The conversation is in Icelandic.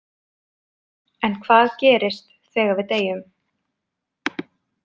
En hvað gerist þegar við deyjum?